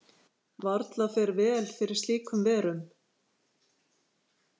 Varla fer vel fyrir slíkur verum.